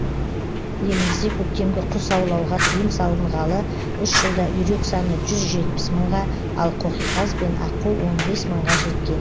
елімізде көктемгі құс аулауға тыйым салынғалы үш жылда үйрек саны жүз жетпіс мыңға ал қоқиқаз бен аққу он бес мыңға жеткен